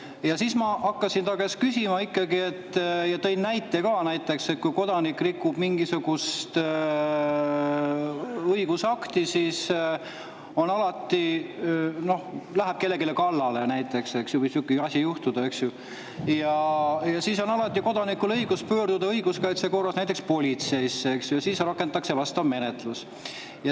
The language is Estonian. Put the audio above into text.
Ja siis ma hakkasin küsima ikkagi ja tõin näite, et kui kodanik rikub mingisugust õigusakti, noh, läheb kellelegi kallale – niisugune asi võib juhtuda, eks –, siis on alati õigus pöörduda õiguskaitse korras näiteks politseisse ja rakendatakse vastav menetlus.